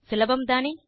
சுலபம்தானே